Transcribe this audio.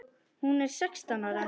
Hún er sextán ára.